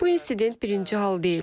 Bu insident birinci hal deyil.